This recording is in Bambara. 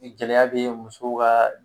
Ni gɛlɛya bɛ muso ka